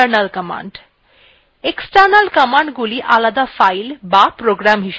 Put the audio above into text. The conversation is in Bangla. external commandsগুলি আলাদা files বা programs হিসাবে থাকে